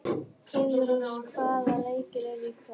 Heiðrós, hvaða leikir eru í kvöld?